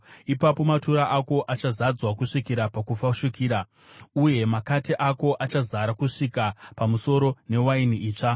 ipapo matura ako achazadzwa kusvikira pakufashukira, uye makate ako achazara kusvika pamusoro newaini itsva.